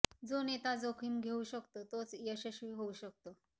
जो नेता जोखीम घेऊ शकतो तोच यशस्वी होऊ शकतो